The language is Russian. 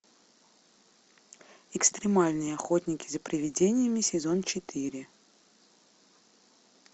экстремальные охотники за привидениями сезон четыре